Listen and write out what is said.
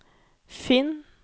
finn